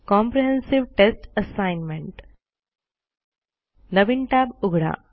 comprehensive test assignment नवीन tab उघडा